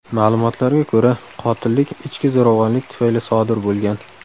Ma’lumotlarga ko‘ra, qotillik ichki zo‘ravonlik tufayli sodir bo‘lgan.